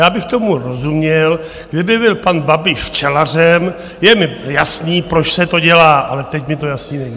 Já bych tomu rozuměl, kdyby byl pan Babiš včelařem, je mi jasné, proč se to dělá, ale teď mně to jasné není.